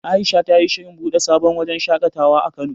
Aisha ta yi shirin buɗe sabon wajen shaƙatawa a Kano.